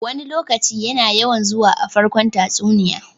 "Wani lokaci" yana yawan zuwa a farkon tatsuniya.